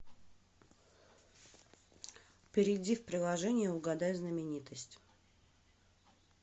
перейди в приложение угадай знаменитость